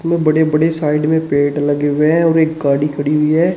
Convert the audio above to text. बड़े बड़े साइड में पेड़ लगे हुए हैं और एक गाड़ी खड़ी हुई है।